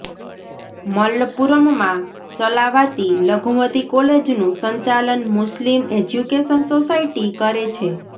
મલ્લપુરમમાં ચલાવાતી લઘુમતી કોલેજનું સંચાલન મુસ્લિમ એજ્યુકેશન સોસાયટી કરે છે